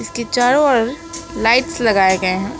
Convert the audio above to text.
इसके चारों ओर लाइट्स लगाए गए हैं।